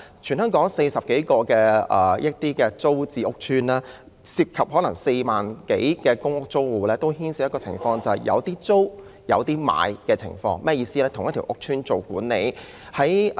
全港有40多個租置屋邨，當中涉及4萬多個公屋租戶，他們都面對的情況是屋邨內同時有租戶和業主。